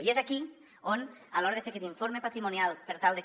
i és aquí on a l’hora de fer aquest informe patrimonial per tal de que